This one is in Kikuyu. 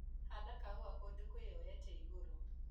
Handa kahũa kũndũ kwĩyoete igũrũ.